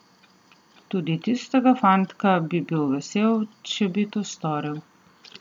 Tudi tistega fantka bi bil vesel, če bi to storil.